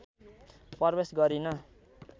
प्रवेश गरिन